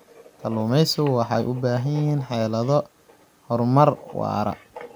Kalluumaysigu waxay u baahan yihiin xeelado horumar waara.